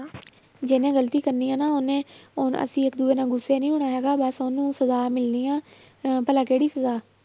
ਜਿਹਨੇ ਗ਼ਲਤੀ ਕਰਨੀ ਹੈ ਨਾ ਉਹਨੇ, ਹੁਣ ਅਸੀਂ ਇੱਕ ਦੂਜੇ ਨਾਲ ਗੁੱਸੇ ਨੀ ਹੋਣਾ ਹੈਗਾ ਬਸ ਉਹਨੂੰ ਸਜਾ ਮਿਲਣੀ ਹੈ ਅਹ ਭਲਾ ਕਿਹੜੀ ਸਜਾ,